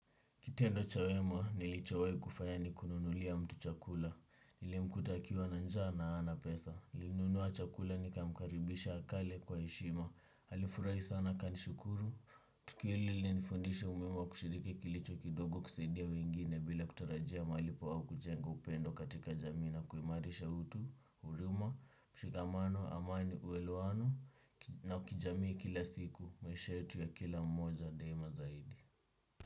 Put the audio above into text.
Kitendo cha wema, nilichowai kufanya ni kununulia mtu chakula. Nileuta akiwa na njaa na hana pesa. Nilinunua chakula nikamkaribisha akale kwa heshima. Alifurahi sana akanishukuru. Tukio hili lilinifundisha umuhimu wa kushiriki kilicho kidogo kusaidia wengine bila kutarajia malipo au kujenda upendo katika jamii na. Kuimarisha utu, huruma, mshikamano, amani, uelewano na ukijamii kila siku. Maisha yetu ya kila mmoja daima zaidi.